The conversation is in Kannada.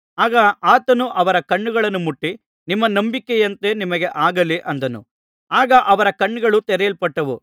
ಆಗ ಆತನು ಅವರ ಕಣ್ಣುಗಳನ್ನು ಮುಟ್ಟಿ ನಿಮ್ಮ ನಂಬಿಕೆಯಂತೆ ನಿಮಗೆ ಆಗಲಿ ಅಂದನು ಆಗ ಅವರ ಕಣ್ಣುಗಳು ತೆರೆಯಲ್ಪಟ್ಟವು